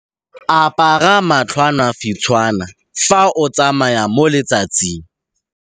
Apara matlhwanafitshwana fa o tsamaya mo letsatsing.